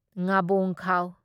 ꯉꯕꯣꯡꯈꯥꯎ